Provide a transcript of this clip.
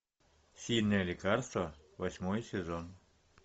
сильное лекарство восьмой сезон